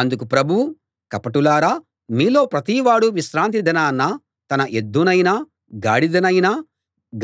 అందుకు ప్రభువు కపటులారా మీలో ప్రతివాడూ విశ్రాంతిదినాన తన ఎద్దునైనా గాడిద నైనా